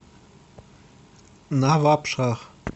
навабшах